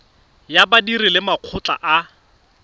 ya badiri le makgotla a